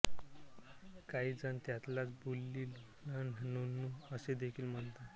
काही जण त्यालाच बुल्ली लंड नुन्नू असेदेखील म्हणतात